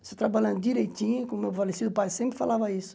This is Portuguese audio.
Você trabalhando direitinho, como o meu falecido pai sempre falava isso.